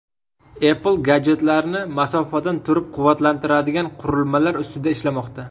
Apple gadjetlarni masofadan turib quvvatlantiradigan qurilmalar ustida ishlamoqda.